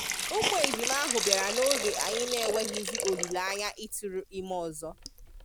ụmụ ejima ahụ bịara noge anyị nenweghịzi olileanya ịtụrụ ime ọzọ.